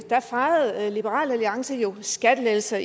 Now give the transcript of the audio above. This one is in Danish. fejrede liberal alliance jo skattelettelser